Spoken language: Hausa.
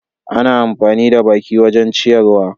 Ana amfani da baki wajen ciyarwa.